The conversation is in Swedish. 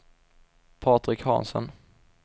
Patrik Hansen